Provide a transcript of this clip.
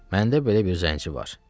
Məndə belə bir zənci var.